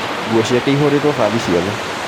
Nguo ciake ihũrĩtwo bathi ciothe